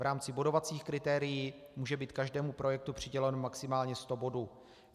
V rámci bodovacích kritérií může být každému projektu přiděleno maximálně 100 bodů.